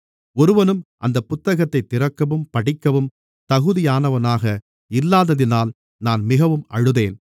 ஒருவனும் அந்தப் புத்தகத்தைத் திறக்கவும் படிக்கவும் தகுதியானவனாக இல்லாததினால் நான் மிகவும் அழுதேன்